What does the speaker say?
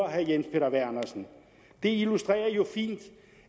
herre jens peter vernersen det illustrerer jo fint